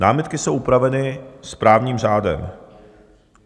Námitky jsou upraveny správním řádem.